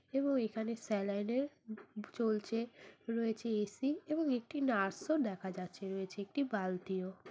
এবং এখানে স্যালাইন এর বু বু চলছে রয়েছে এ.সি. এবং একটি নার্স ও দেখা যাচ্ছে। রয়েছে একটি বালতিও।